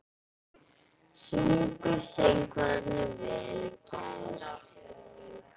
Sungu söngvararnir vel í gær?